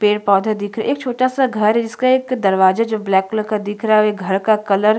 पेड़- पौधे देख रहे एक छोटा- सा घर है इसका एक दरवाजा जो ब्लैक कलर का दिख रहा है ओर ये घर का कलर --